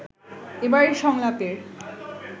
এবারের সংলাপের